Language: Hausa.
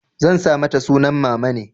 Zan sa mata sunan mamane.